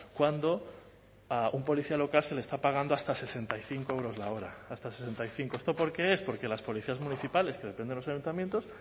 cuando a un policía local se le está pagando hasta sesenta y cinco euros la hora hasta sesenta y cinco esto por qué es porque las policías municipales que dependen de los ayuntamientos